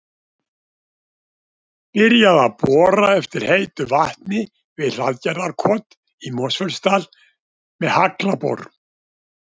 Byrjað að bora eftir heitu vatni við Hlaðgerðarkot í Mosfellsdal með haglabor.